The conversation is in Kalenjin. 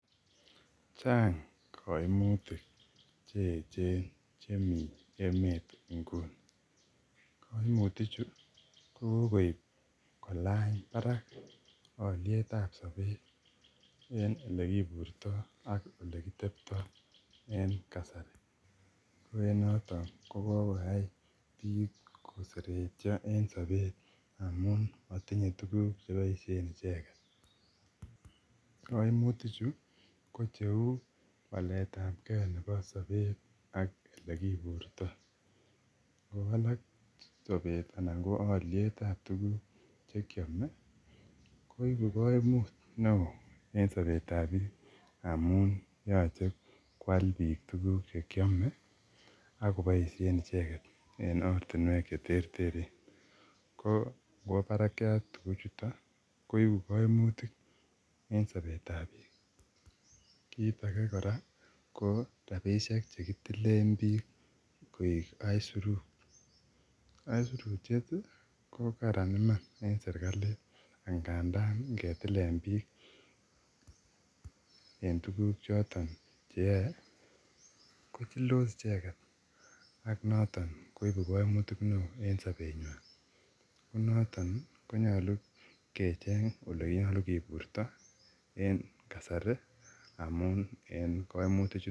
chang koimutik cheechen chemi emet inguni koimuti chu kokoip kolany barak olietab sopet en olekiburto ak elekiteptoo en kasari koen yoton kokoyai biik koseretion en sopet amun motinye tuguk cheboishen icheket koimutichu kocheu waletab kee nepo sopet ak elekiburto ngowalak sopet anan koeliet nepo tuguk chekiome koibu koimut neoo en sopetab biik amun yoche kwal biik tuguk chekiome akoboishen icheket en ortinuek cheterteren ko ngwo barakiat tuguchuton koibu koimutiken sobetab biik kit age kora ko rapishek chekitilen biik koik aisurut aisurutieti kokaran iman en serkalit ngandan ngetilen biik en tuguk choton cheyoe kochildos icheket ak noton koiku koimutik neo en sopenywan nenoton ii konyolu kecheng olenyolu kiburto en kasari amun en koimuti chuton